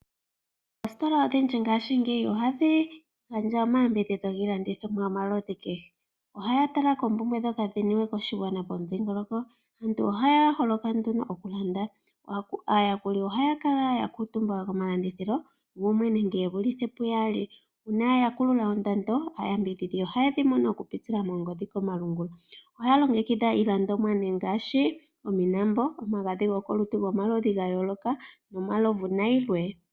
Oositola odhindji ngashingeyi ohadhi gandja omayambidhidho giilandithomwa yo maludhi kehe. Ohaya tala koompumbwe dhoka dhi niwe koshigwana po mudhingoloko. Aantu ohaya holoka nduno oku landa, aayakuli ohaya kala ya kuutumba ko malandithilo gumwe nenge ye vulithe pu yaali. Uuna ya kulula ondando aayambidhidhi oha yedhi mono oku pitila mongodhi komalungula. Ohaya longekidha nee iilandomwa ngaashi ominambo, omagadhi go kolutu gomaludhi ga yooloka no malovu na yilwe.